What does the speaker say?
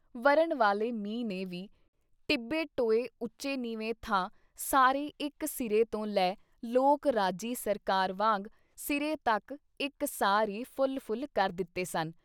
ਵਰ੍ਹਨ ਵਾਲੇ ਮੀਂਹ ਨੇ ਵੀ ਟਿੱਬੇ-ਟੋਏ ਉੱਚੇ ਨੀਂਵੇਂ ਥਾਂ ਸਾਰੇ ਇੱਕ ਸਿਰੇ ਤੋਂ ਲੈ ਲੋਕ-ਰਾਜੀ ਸਰਕਾਰ ਵਾਂਗ ਸਿਰੇ ਤੱਕ ਇਕ ਸਾਰ ਈ ਫੁੱਲ ਫੁੱਲ ਕਰ ਦਿੱਤੇ ਸਨ।